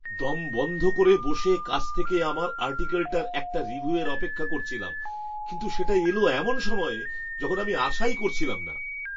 দম বন্ধ করে বসের কাছ থেকে আমার আর্টিকলটার একটা রিভিউয়ের অপেক্ষা করছিলাম, কিন্তু সেটা এলো এমন সময়ে যখন আমি আশাই করছিলাম না।